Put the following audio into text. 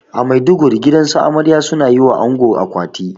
A maiduguri gidansu amarya suna yiwa ango akwati